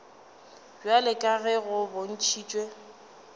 bjalo ka ge go bontšhitšwe